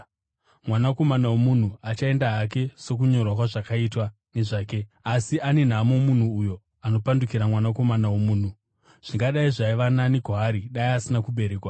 Mwanakomana woMunhu achaenda hake sokunyorwa kwazvakaitwa nezvake. Asi ane nhamo munhu uyo anopandukira Mwanakomana woMunhu! Zvingadai zvaiva nani kwaari dai asina kuberekwa.”